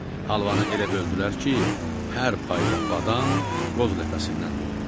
Halvanı elə böldülər ki, hər payda badam, qoz ləpəsindən də oldu.